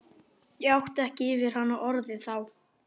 Ég átti ekki yfir hana orðin þá.